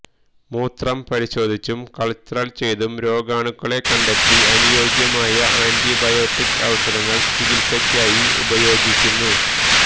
മൂത്രം പരിശോധിച്ചും കള്ച്ചര് ചെയ്തും രോഗാണുക്കളെ കണ്ടെത്തി അനുയോജ്യമായ ആന്റിബയോട്ടിക് ഔഷധങ്ങള് ചികിത്സക്കായി ഉപയോഗിക്കുന്നു